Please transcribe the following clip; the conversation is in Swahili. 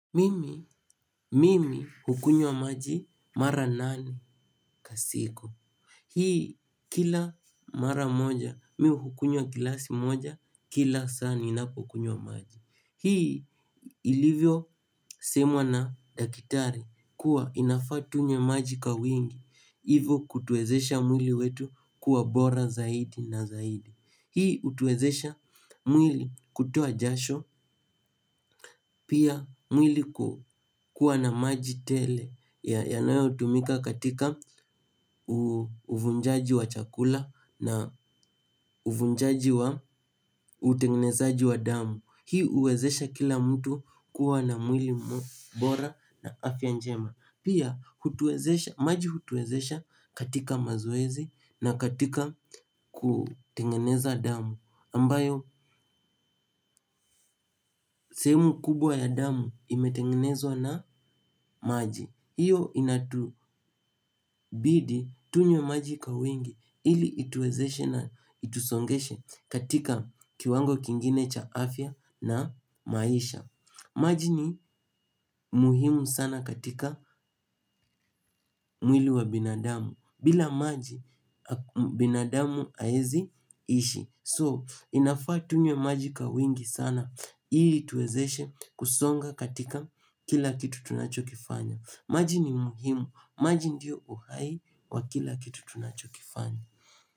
Mimi, mimi hukunwa maji mara nane kwa siku. Hii kila mara moja, mi hukunywa glasi moja, kila saa ninapo kunywa maji. Hii ilivyo semwa na dakitari kuwa inafaa tunywe maji ka wingi. Hivo kutuezesha mwili wetu kuwa bora zaidi na zaidi. Hii utuwezesha mwili kutoa jasho, pia mwili kuwa na maji tele yanayo tumika katika uvunjaji wa chakula na uvunjaji wa utengenezaji wa damu. Hii uwezesha kila mtu kuwa na mwili bora na afia njema. Pia maji hutuezesha katika mazoezi na katika kutengeneza damu ambayo sehemu kubwa ya damu imetengenezwa na maji. Iyo inatubidi tunywe maji kwa wingi ili ituezeshe na itusongeshe katika kiwango kingine cha afya na maisha. Maji ni muhimu sana katika mwili wa binadamu. Bila maji binadamu haezi ishi So, inafaa tunywe maji ka wingi sana. Hii tuwezeshe kusonga katika kila kitu tunachokifanya. Maji ni muhimu. Maji ndiyo uhai wa kila kitu tunachokifanya.